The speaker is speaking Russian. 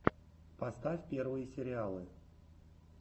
поставь первые сериалы